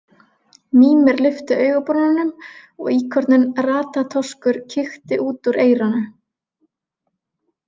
Mímir lyfti augabrúnunum og íkorninn Ratatoskur kíkti út úr eyranu.